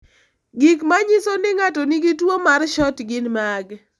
Gik manyiso ni ng'ato nigi tuwo mar SHORT gin mage?